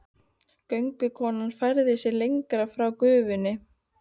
Göngukonan færði sig lengra frá gufunni.